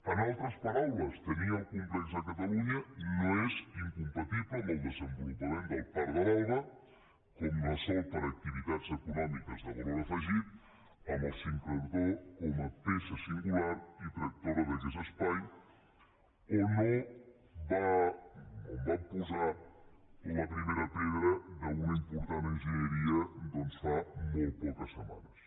en altres paraules tenir el complex a catalunya no és incompatible amb el desenvolupament del parc de l’alba no ho és amb activitats econòmiques de valor afegit amb el sincrotró com a peça singular i tractora d’aquest espai on vam posar la primera pedra d’una important enginyeria fa molt poques setmanes